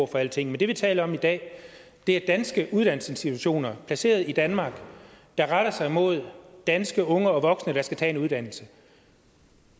for alting men det vi taler om i dag er danske uddannelsesinstitutioner placeret i danmark der retter sig mod danske unge og voksne der skal tage en uddannelse